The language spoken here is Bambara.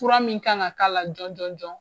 Fura min kan ka k'a la jɔn jɔn.